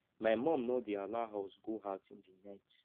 my mum no dey allow us go out in the night